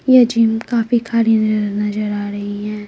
ये जिम काफी खाली नज नजर आ रही है।